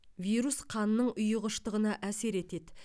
вирус қанның ұйғыштығына әсер етеді